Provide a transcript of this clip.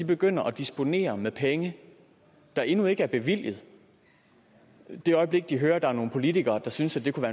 begynder at disponere med penge der endnu ikke er bevilget det øjeblik de hører at der er nogle politikere der synes at det kunne